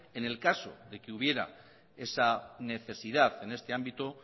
en el caso de que hubiera esa necesidad en este ámbito